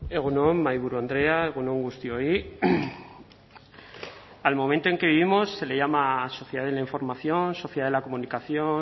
egun on mahaiburu andrea egun on guztioi al momento en que vivimos se le llama sociedad de la información sociedad de la comunicación